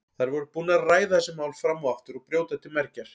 Þær voru búnar að ræða þessi mál fram og aftur og brjóta til mergjar.